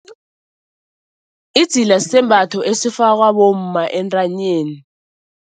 Idzila sisembatho esifakwa bomma entanyeni.